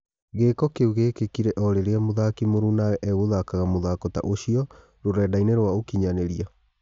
Gĩ ko kĩ u gĩ kĩ kire o rĩ rĩ a mũthaki mũrunawe egũthakaga mũthako ta ũcio rũrendainĩ rwa ũkinyanĩ ria.